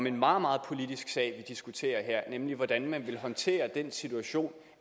en meget meget politisk sag vi diskuterer her nemlig hvordan man vil håndtere den situation